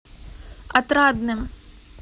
отрадным